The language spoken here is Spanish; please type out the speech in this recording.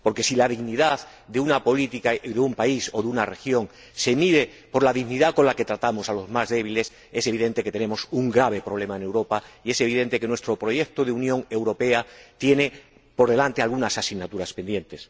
Porque si la dignidad de una política o de un país o de una región se mide por la dignidad con la que tratamos a los más débiles, es evidente que tenemos un grave problema en Europa, y es evidente que nuestro proyecto de Unión Europea tiene por delante algunas asignaturas pendientes.